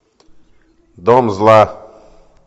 дом зла